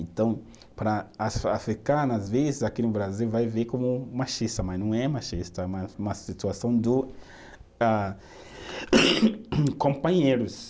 Então, para as africanas, às vezes, aqui no Brasil, vai ver como machista, mas não é machista, é uma uma situação do ah companheiros.